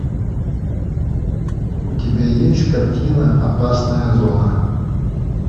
у тебя есть картина опасная зона